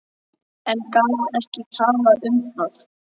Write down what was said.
En gat ekki talað um það.